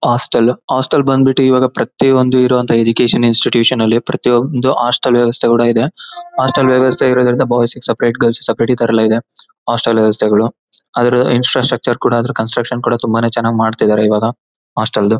Hostel hostel ಬಂದ್ಬಿಟ್ಟಿ ಇವಾಗ ಪ್ರತಿಯೊಂದು ಇರುವಂತಹ ಎಜುಕೇಷನ್ ಇನ್ಸ್ಟಿಟ್ಯೂಷನ್ ನಲ್ಲಿ ಪ್ರತಿಯೊಂದು ಹಾಸ್ಟೆಲ್ ವೆವಸ್ಥೆ ಕೂಡ ಇದೆ ಹಾಸ್ಟೆಲ್ ವೆವಸ್ಥೆ ಇರೋದರಿಂದ ಬಾಯ್ಸ್ ಗೆ ಸಪರೇಟ್ ಗರ್ಲ್ಸ್ ಗೆ ಸಪರೇಟ್ ಇತರ ಎಲ್ಲ ಇದೆ ಹಾಸ್ಟೆಲ್ ವೆವಸ್ಥೆಗಳು ಅದರ ಇನ್ಸ್ಟಾ ಸ್ಟಾಕ್ಚರ್ ಕೂಡ ಅದರ ಕನ್ಸ್ಟ್ರಕ್ಷನ್ ಕೂಡ ತುಂಬಾನೇ ಚೆನ್ನಾಗಿ ಮಾಡ್ತಾಯಿದ್ದರೆ ಇವಾಗ ಹಾಸ್ಟೆಲ್ ದು.